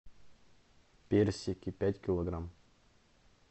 персики пять килограмм